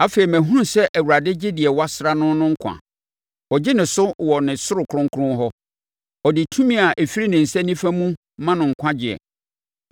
Afei mahunu sɛ Awurade gye deɛ wasra no no nkwa; ɔgye no so wɔ ne soro kronkron hɔ ɔde tumi a ɛfiri ne nsa nifa mu no ma no nkwagyeɛ.